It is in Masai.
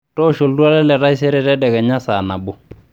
toosho oltuala le taisere tadekenya saa nabo